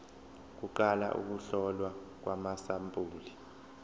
kuqala ukuhlolwa kwamasampuli